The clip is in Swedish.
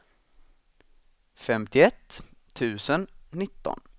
femtioett tusen nitton